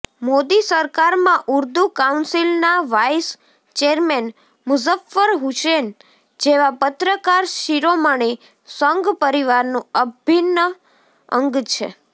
મોદી સરકારમાં ઉર્દૂ કાઉન્સિલના vice chairman Muzaffar Hussain જેવા પત્રકારશિરોમણિ સંઘ પરિવારનું અભિન્ન અંગ છે